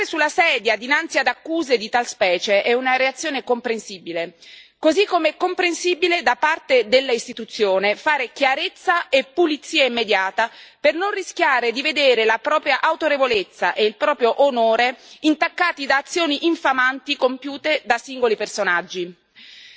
Saltare sulla sedia dinanzi ad accuse di tal specie è una reazione comprensibile, così come è comprensibile, da parte dell'istituzione, fare chiarezza e pulizia immediata per non rischiare di vedere la propria autorevolezza e il proprio onore intaccati da azioni infamanti compiute da singoli personaggi.